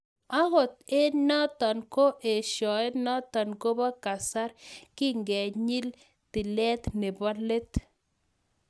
Angot eng notok koo eshoet notok kopoo kasaar kikenyii tileet neboo let